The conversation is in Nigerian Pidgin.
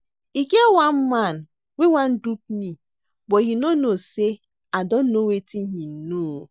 E get one man wey wan dupe me but he no know say I don know wetin he know